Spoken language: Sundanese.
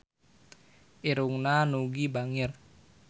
Irungna Nugie bangir